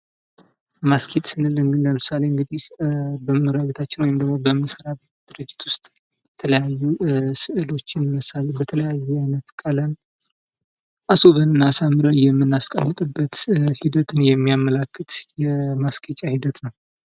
ማስጌጥ ስልን እንግዲህ ለምሳሌ እንግዲህ በመኖሪያ ቤታችን ወይም ደግሞ በምንሰራበት ድርጅት ዉስጥ የተለያዩ ስዕሎችን መሳል በተለያየ ቀለም አስዉበን እና አሳምረን የምናስቀምጥበት ሂደትን የሚያመላክት የማስጌጫ ሂደት ነዉ።